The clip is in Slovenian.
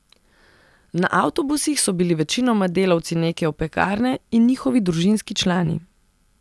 Na avtobusih so bili večinoma delavci neke opekarne in njihovi družinski člani.